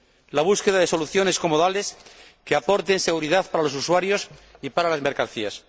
la búsqueda de soluciones comodales que aporten seguridad para los usuarios y para las mercancías